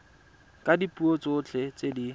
ka dipuo tsotlhe tse di